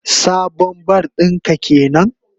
Sabon bar din ka kenan?